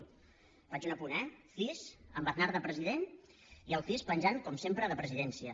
hi faig un apunt eh cis amb aznar de president i el cis penjant com sempre de presidència